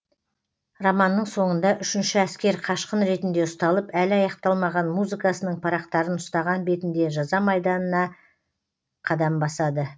романның соңында үшінші әскер қашқын ретінде ұсталып әлі аяқталмаған музыкасының парақтарын ұстаған бетінде жаза майданына қадам басады